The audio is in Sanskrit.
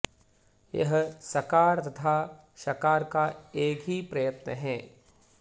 यह सकार तथा षकार का एक ही प्रयत्न हैं